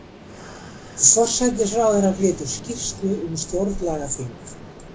Forsætisráðherra flytur skýrslu um stjórnlagaþing